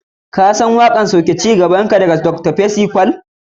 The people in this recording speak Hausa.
kasan waƙar Bring down your glory daga Dr panam percy paull?